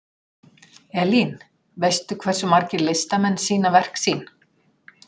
Elín, veistu hversu margir listamenn sýna verk sín?